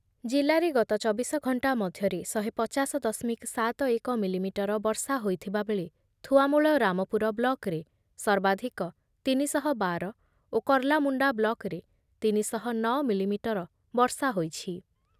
ଜିଲ୍ଲାରେ ଗତ ଚବିଶ ଘଣ୍ଟା ମଧ୍ୟରେ ଶହେପଚାଶ ଦଶମିକ ଏକୋସ୍ତରୀ ମିଲିମିଟର ବର୍ଷା ହୋଇଥିବା ବେଳେ ଥୁଆମୂଳ ରାମପୁର ବ୍ଲକରେ ସର୍ବାଧିକ ତିନି ଶହ ବାର ଓ କର୍ଲାମୁଣ୍ଡା ବ୍ଲକରେ ତିନି ଶହ ନଅ ମିଲିମିଟର ବର୍ଷା ହୋଇଛି ।